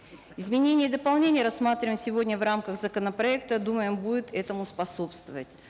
изменения и дополнения рассматриваемые сегодня в рамках законопроекта думаем будут этому способствовать